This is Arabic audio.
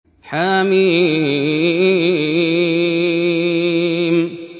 حم